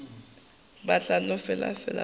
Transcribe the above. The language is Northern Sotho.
ba tla no fela ba